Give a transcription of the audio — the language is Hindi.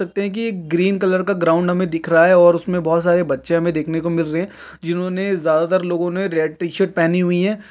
लगता हैं की एक ग्रीन कलर का ग्राउंड हमें दिख रहा है और उसमे बहौत सारे बच्चे हमें देखने को मिल रहे हैं जिन्होंने ज्यादा तर लोगों ने रेड टी-शर्ट पहनी हुई हैं।